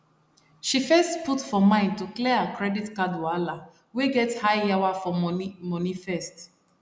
she first put for mind to clear her credit card wahala wey get high yawa for money money first